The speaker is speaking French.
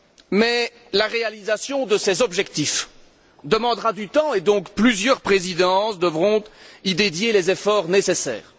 Mais la réalisation de ces objectifs demandera du temps et, donc, plusieurs Présidences devront y consacrer les efforts nécessaires.